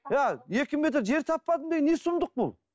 екі метр жер таппадым деген не сұмдық бұл